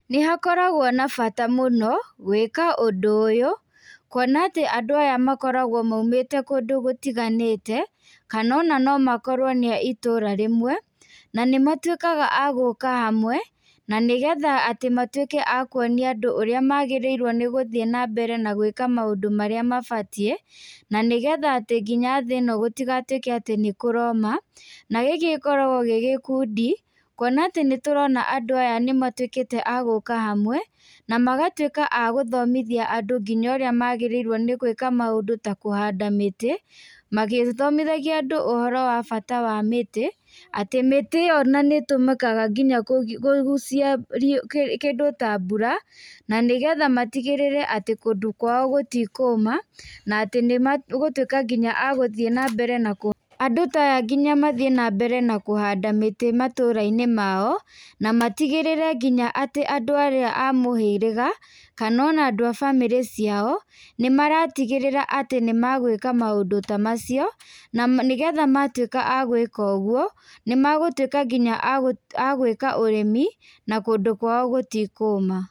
Nĩ hakoragwo na bata mũno gwĩka ũndũ ũyũ kuona atĩ andũ aya makoragwo maumĩte kũndũ gũtiganĩte kana ona no makorwo nĩ a itũra rĩmwe. Na nĩ matuĩkaga agũka hamwe na nĩ getha matuĩke akuonia nadũ ũrĩa magĩrĩirwo nĩ gũthiĩ na mbere na gwĩka maũndũ marĩa mabatiĩ. Na nĩ getha nginya thĩ ĩno gũtigatuĩke atĩ nĩ kũroma, na gikĩ gikoragwo gĩgĩkundi kuona atĩ nĩ tũrona andũ aya nĩ matuĩkĩte agũka hamwe. Na magatuĩka agũthomithia andũ nginya ũrĩa magĩrĩirwo nĩ gwĩka maũndũ ta kũhanda mĩtĩ, magĩthomithagia andũ ũhoro wa bata wa mĩtĩ. Atĩ mĩtĩ ĩyo ona nĩ ĩtũmĩkaga nginya kũgucia kĩndũ ta mbura, na nĩ getha matigĩrĩre kũndũ kwao gũtikũma na atĩ nĩ magũtuĩka nginya agũthiĩ na mbere, andũ ta aya ngina mathiĩ na mbere na kũhanda mĩtĩ matũra-inĩ mao. Na matigĩrĩre nginya atĩ andũ arĩa a mũhĩrĩga kana ona andũ a bamĩrĩ ciao, nĩ maratigĩrĩra atĩ nĩ magwĩka maũndũ ta macio. Na nĩ getha matuĩka magwĩka ũguo nĩ magũtuĩka nginya agwĩka ũrĩmi na kũndũ kwao gũtikũma.